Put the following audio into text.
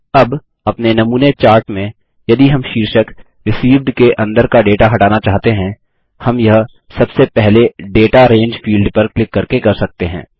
अब अपने नमूने चाट में यदि हम शीर्षक रिसीव्ड के अंदर का डेटा हटाना चाहते हैं हम यह सबसे पहले दाता रंगे फील्ड पर क्लिक करके कर सकते हैं